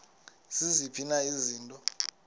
ziziphi na izinto